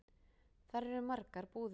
Þar eru margar búðir.